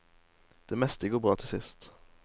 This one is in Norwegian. Det meste går bra til sist.